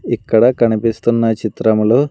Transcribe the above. ఇక్కడ కనిపిస్తున్న చిత్రములో--